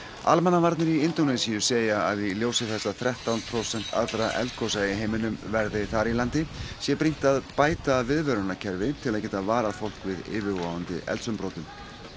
almannavarnir í Indónesíu segja að í ljósi þess að þrettán prósent allra eldgosa í heiminum verði þar í landi sé brýnt að bæta viðvörunarkerfi til þess að geta varað fólk við yfirvofandi eldsumbrotum